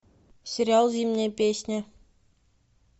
сериал зимняя песня